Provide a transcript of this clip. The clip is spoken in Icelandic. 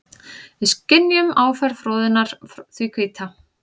Við skynjum áferð froðunnar því hvíta.